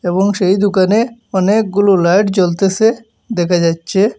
এবং সেই দুকানে অনেকগুলো লাইট জ্বলতেসে দেখা যাচ্ছে।